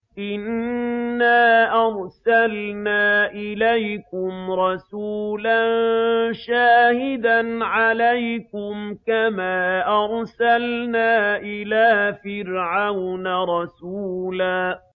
إِنَّا أَرْسَلْنَا إِلَيْكُمْ رَسُولًا شَاهِدًا عَلَيْكُمْ كَمَا أَرْسَلْنَا إِلَىٰ فِرْعَوْنَ رَسُولًا